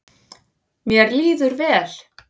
Mér líður vel.